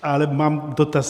Ale mám dotaz.